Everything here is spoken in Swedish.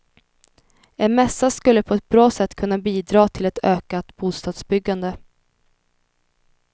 En mässa skulle på ett bra sätt kunna bidra till ett ökat bostadsbyggande.